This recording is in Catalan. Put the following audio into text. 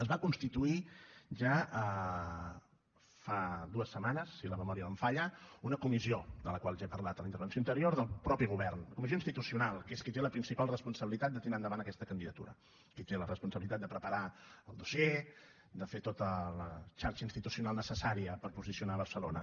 es va constituir ja fa dues setmanes si la memòria no em falla una comissió de la qual ja he parlat en la intervenció anterior del mateix govern comissió institucional que és qui té la principal responsabilitat de tirar endavant aquesta candidatura qui té la responsabilitat de preparar el dossier de fer tota la xarxa institucional necessària per posicionar barcelona